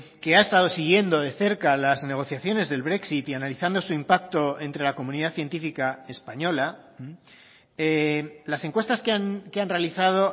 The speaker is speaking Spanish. que ha estado siguiendo de cerca las negociaciones del brexit y analizando su impacto entre la comunidad científica española las encuestas que han realizado